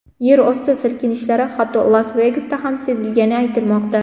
Yer osti silkinishlari hatto Las-Vegasda ham sezilgani aytilmoqda.